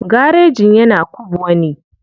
Garejin yana kubwa ne.